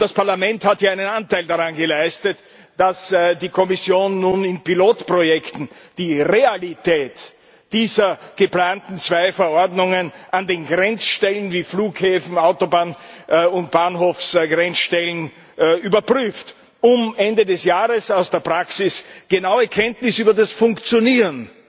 Das Parlament hat ja einen Anteil daran geleistet, dass die Kommission nun in Pilotprojekten die Realität dieser geplanten zwei Verordnungen an den Grenzstellen wie Flughäfen, Autobahn und Bahnhofsgrenzstellen überprüft, um uns Ende des Jahres aus der Praxis genaue Kenntnis über das Funktionieren